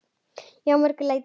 Já, að mörgu leyti.